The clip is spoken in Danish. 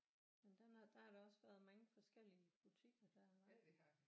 Men den er der har der også været mange forskellige butikker der var